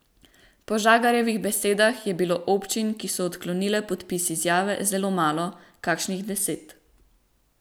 Po Žagarjevih besedah je bilo občin, ki so odklonile podpis izjave, zelo malo, kakšnih deset.